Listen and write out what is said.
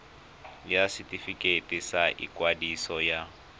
ya setefikeiti sa ikwadiso ya